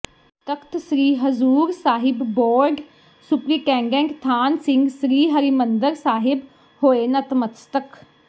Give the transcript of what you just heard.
ਤਖਤ Sri Hazur Sahib board superintendent Than Singh Sri Harmandir Sahib ਹੋਏ ਨਤਮਸਤਕ